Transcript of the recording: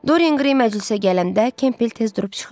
Dorian Qrey məclisə gələndə Kempbell tez durub çıxır.